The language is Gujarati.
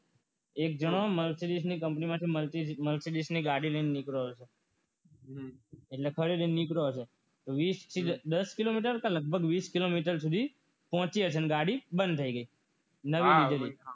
એક જણો mercedes ની કંપની માંથી mercedes ની ગાડી લઈને નીકળ્યો હતો એટલે થઈને નીકળ્યો હશે વિસ દસ કિલોમિટર કે વિસ પેટે લગભગ પહોંચી હશે અને ગાડી બંધ થઈ ગઈ હશે નવી લીધેલી